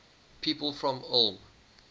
people from ulm